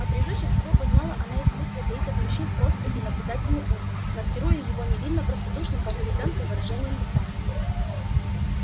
а превыше всего познала она искусство таить от мужчин острый и наблюдательный ум маскируя его невинно-простодушным как у ребёнка выражением лица